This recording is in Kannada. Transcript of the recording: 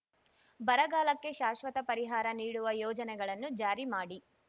ಬರಗಾಲಕ್ಕೆ ಶಾಶ್ವತ ಪರಿಹಾರ ನೀಡುವ ಯೋಜನೆಗಳನ್ನು ಜಾರಿ ಮಾಡಿ